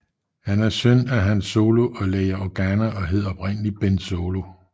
Han er søn af Han Solo og Leia Organa og hed oprindeligt Ben Solo